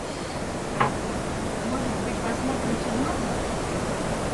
может быть посмотрим чернобыль